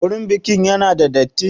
Wurin bikin ya na da datti?